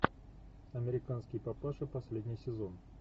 американский папаша последний сезон